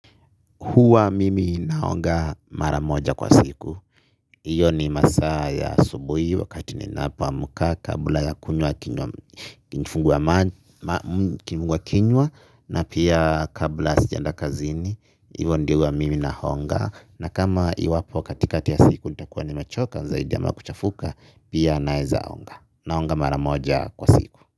Huwa mimi naoga mara moja kwa siku. Iyo ni masaa ya asubuhi wakati ninapoamka kabla ya kunywa kifunguakinywa na pia kabla sijaenda kazini. Hivo ndio huwa mimi naonga na kama iwapo katikati ya siku nitakuwa nimechoka zaidi ama kuchafuka pia naeza onga naonga mara moja kwa siku.